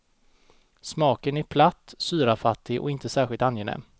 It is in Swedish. Smaken är platt, syrafattig och inte särskilt angenäm.